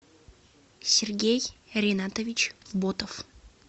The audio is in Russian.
сергей ринатович ботов